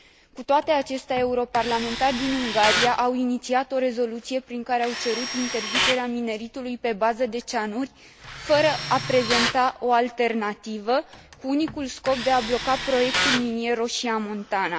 Cu toate acestea, europarlamentari din Ungaria au inițiat o rezoluție prin care au cerut interzicerea mineritului pe bază de cianuri, fără a prezenta o alternativă, cu unicul scop de a bloca proiectul minier Roșia Montana.